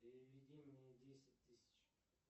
переведи мне десять тысяч